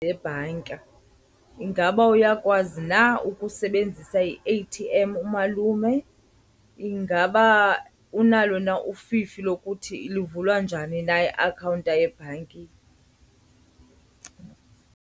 Yebhanka. Ingaba uyakwazi na ukusebenzisa i-A_T_M umalume? Ingaba unalo na ufifi lokuthi luvulwa njani na iakhawunta yebhanki.